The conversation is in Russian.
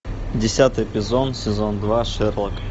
десятый эпизод сезон два шерлок